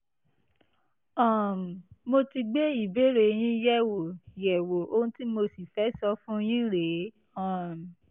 um mo ti gbé ìbéèrè yín yẹ̀wò yẹ̀wò ohun tí mo sì fẹ́ sọ fún yín rèé um